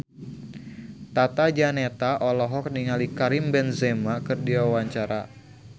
Tata Janeta olohok ningali Karim Benzema keur diwawancara